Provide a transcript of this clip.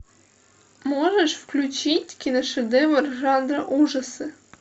можешь включить киношедевр жанра ужасы